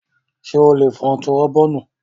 Ṣé ó lè fun turobóònù?